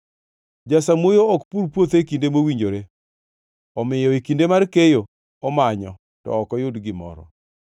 Jasamuoyo ok pur puothe e kinde mowinjore; omiyo e kinde mar keyo omanyo, to ok oyud gimoro.